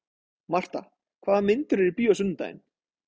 Marta, hvaða myndir eru í bíó á sunnudaginn?